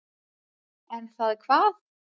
Er það hvað.